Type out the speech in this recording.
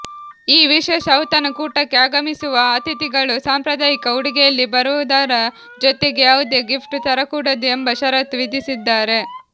ಈ ವಿಶೇಷ ಔತಣಕೂಟಕ್ಕೆ ಆಗಮಿಸುವ ಅತಿಥಿಗಳು ಸಾಂಪ್ರದಾಯಿಕ ಉಡುಗೆಯಲ್ಲಿ ಬರುವದರ ಜೊತೆಗೆ ಯಾವುದೇ ಗಿಫ್ಟ್ ತರಕೂಡದು ಎಂಬ ಷರತ್ತು ವಿಧಿಸಿದ್ದಾರೆ